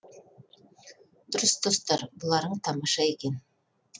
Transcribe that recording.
дұрыс достар бұларың тамаша екен